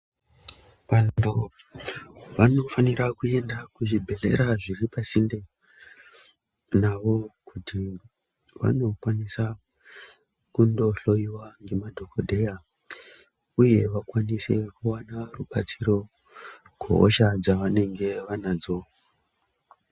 Vanhu vanofanira kuenda kuzvibhedhlera zviri pasinde nawo kuti vanokwanisa kundohloiwa ngemadhokodheya uye vakwanise kuona rubatsiro kusha dzavanenge vanadzo.